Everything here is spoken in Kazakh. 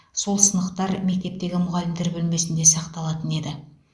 сол сынықтар мектептегі мұғалімдер бөлмесінде сақталатын еді